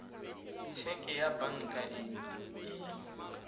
heke ya banka e e